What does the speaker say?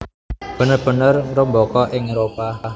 bener bener ngrembaka ing Éropah